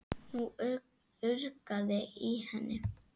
Nú urgaði í henni.